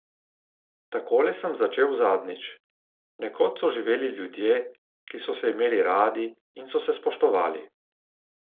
Takole sem začel zadnjič: 'Nekoč so živeli ljudje, ki so se imeli radi in so se spoštovali.